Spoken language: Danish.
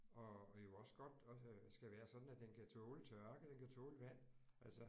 Og det jo også godt og øh skal være sådan at den kan tåle tørke den kan tåle vand altså